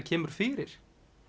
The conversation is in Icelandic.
kemur fyrir